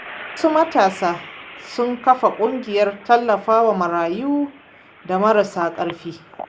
Wasu matasa sun kafa ƙungiyar tallafawa marayu da marasa ƙarfi.